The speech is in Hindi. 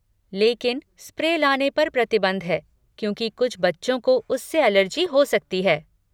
लेकिन स्प्रे लाने पर प्रतिबंध है क्योंकि कुछ बच्चों को उससे एलर्जी हो सकती है।